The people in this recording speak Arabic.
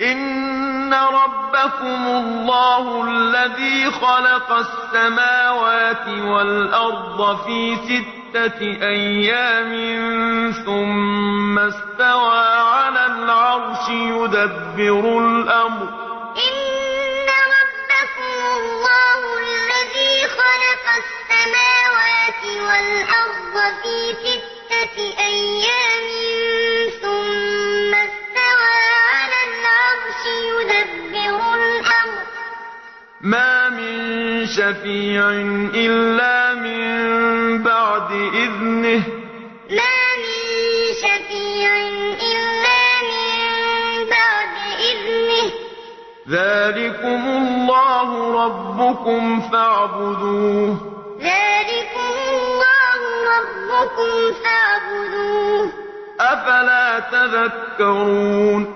إِنَّ رَبَّكُمُ اللَّهُ الَّذِي خَلَقَ السَّمَاوَاتِ وَالْأَرْضَ فِي سِتَّةِ أَيَّامٍ ثُمَّ اسْتَوَىٰ عَلَى الْعَرْشِ ۖ يُدَبِّرُ الْأَمْرَ ۖ مَا مِن شَفِيعٍ إِلَّا مِن بَعْدِ إِذْنِهِ ۚ ذَٰلِكُمُ اللَّهُ رَبُّكُمْ فَاعْبُدُوهُ ۚ أَفَلَا تَذَكَّرُونَ إِنَّ رَبَّكُمُ اللَّهُ الَّذِي